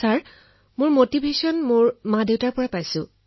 মহোদয় এই উৎসাহ মই মোৰ পিতৃমাতৃৰ পৰা পাইছো